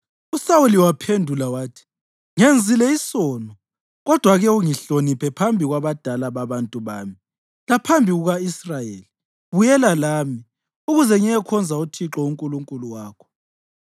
USawuli waphendula wathi, “Ngenzile isono. Kodwa ake ungihloniphe phambi kwabadala babantu bami laphambi kuka-Israyeli; buyela lami, ukuze ngiyekhonza uThixo uNkulunkulu wakho.”